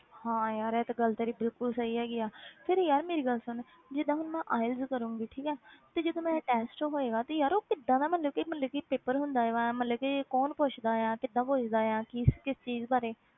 ਹਾਂ ਯਾਰ ਇਹ ਤਾਂ ਗੱਲ ਤੇਰੀ ਬਿਲਕੁਲ ਸਹੀ ਹੈਗੀ ਆ ਫਿਰ ਯਾਰ ਮੇਰੀ ਗੱਲ ਸੁਣ, ਜਿੱਦਾਂ ਹੁਣ ਮੈਂ IELTS ਕਰਾਂਗੀ, ਠੀਕ ਹੈ, ਤੇ ਜਦੋਂ ਮੇਰਾ test ਹੋਏਗਾ ਤੇ ਯਾਰ ਉਹ ਕਿੱਦਾਂ ਦਾ ਮਤਲਬ ਕਿ ਮਤਲਬ ਕਿ paper ਹੁੰਦਾ ਹੈ ਮੈਂ ਮਤਲਬ ਕਿ ਕੌਣ ਪੁੱਛਦਾ ਆ, ਕਿੱਦਾਂ ਪੁੱਛਦਾ ਆ ਕਿਸ ਕਿਸ ਚੀਜ਼ ਬਾਰੇ?